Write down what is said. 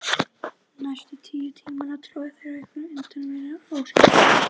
Næstu níu tímana tórðu þeir á einhvern undraverðan, óskiljanlegan hátt.